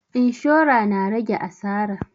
Inshora na rage asara